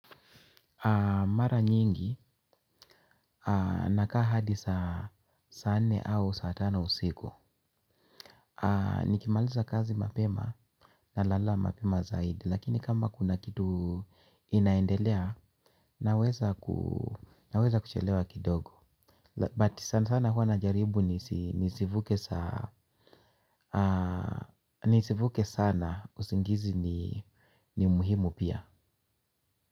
Mara nyingi nakaa hadi saa nne au saa tano usiku. Nikimaliza kazi mapema, ninalala mapema zaidi. Lakini kama kuna kitu inaendelea naweza kuchelewa kidogo. Lakini sana sana huwa najaribu. Nisivuke sana usingizi. Ni muhimu pia.